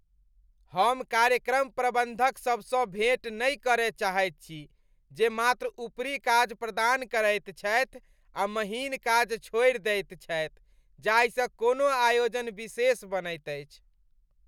हम कार्यक्रम प्रबंधकसभसँ भेँट नहि करय चाहैत छी जे मात्र ऊपरी काज प्रदान करैत छथि आ महीन काज छोड़ि दैत छथि जाहिसँ कोनो आयोजन विशेष बनैत अछि।